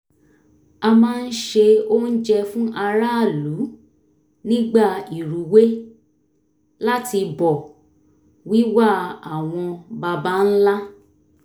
a máa ń se oúnjẹ fún aráàlú nígbà ìrúwé láti bọ̀ wíwà àwọn baba ńlá